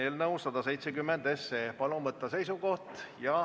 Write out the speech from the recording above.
Palun võtta seisukoht ja hääletada!